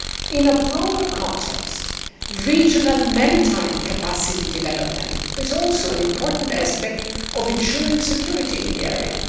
In a broader context, regional maritime capacity development is also an important aspect of ensuring security in the area.